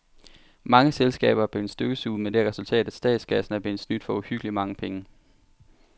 Mange selskaber er blevet støvsuget med det resultat, at statskassen er blevet snydt for uhyggeligt mange penge.